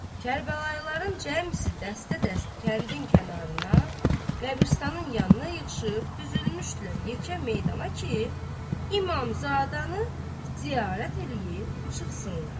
Kərbəlayıların cəmisi dəstə-dəstə kəndin kənarına, qəbiristanın yanına yığışıb düzülmüşdülər yekə meydana ki, İmamzadəni ziyarət eləyib çıxsınlar.